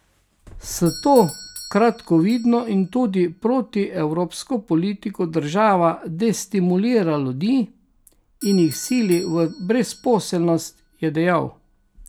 S to kratkovidno in tudi protievropsko politiko država destimulira ljudi in jih sili v brezposelnost, je dejal.